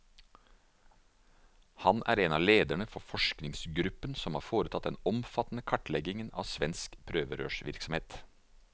Han er en av lederne for forskergruppen som har foretatt den omfattende kartleggingen av svensk prøverørsvirksomhet.